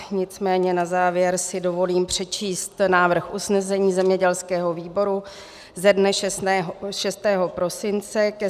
Nicméně na závěr si dovolím přečíst návrh usnesení zemědělského výboru ze dne 6. prosince ke